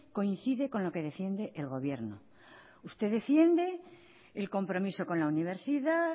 coincide con lo que defiende el gobierno usted defiende el compromiso con la universidad